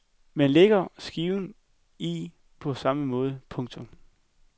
Man lægger skiven i på samme måde. punktum